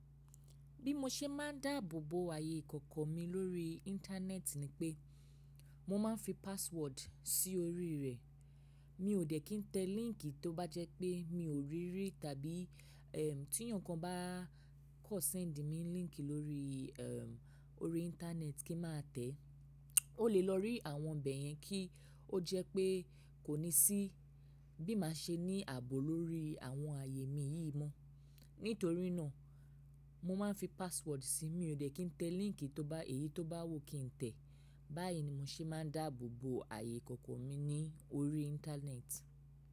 Bí mo ṣe máa ń dáàbò bo ààyè ìkọ̀kọ̀ mi lórí Íńtánẹ́ẹ̀tì ni pé mo máa ń fi password sí orí rẹ̀. Mi ò dẹ̀ kín tẹ líńkì tó bá jẹ́ pé mi ò rí rí tàbí ẹ́ ti ẹ̀yàn kan bá kan ṣẹ́ńdì mí líńkì lórí ẹ́ orí Íńtánẹ́ẹ̀tì kí má tẹ̀. Ó lè lọ rí àwọn ibẹ̀ yẹn kí ó jẹ́ pé kò ní sí bí màá ṣe ní àbò lórí àwọn ààyè mi yìí mọ. Nítorí náà mo máa ń fi password sí i. Mi ò dẹ̀ kín tẹ líńkì tó bá èyí tó bá wù kí n tẹ̀. Báyìí ni mo ṣe máa ń dáàbò bo ààyè ìkọ̀kọ̀ mi ní orí Íńtánẹ́ẹ̀tì.